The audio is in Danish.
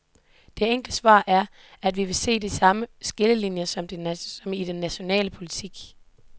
Det enkle svar er, at vi vil se de samme skillelinjer som i den nationale politik.